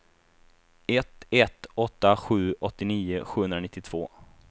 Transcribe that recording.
ett ett åtta sju åttionio sjuhundranittiotvå